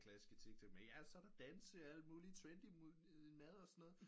Klasse med så er der danse og alt mulig trendy mad og sådan noget